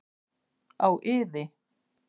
Á iði.